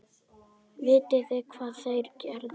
Vitið þið hvað þeir gerðu?